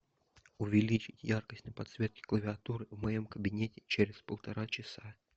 увеличить яркость на подсветке клавиатуры в моем кабинете через полтора часа